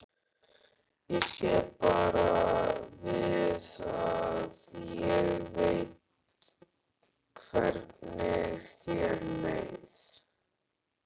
Ég á bara við að ég veit hvernig þér leið.